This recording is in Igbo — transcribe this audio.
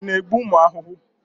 Ị na-egbu ụmụ ahụhụ?